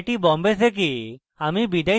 I I T Bombay থেকে amal বিদায় নিচ্ছি